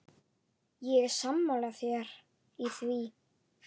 Ég er sammála þér í því.